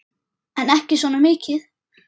En ekki svona mikið.